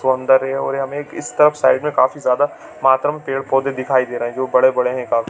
सौंदर्य और यहाँ हमें एक इस तरफ काफी ज्यादा मात्रा में पेड़-पौधे दिखाई दे रहे है जो बड़े-बड़े है काफी--